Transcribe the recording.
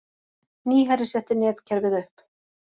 Nýherji setti netkerfið upp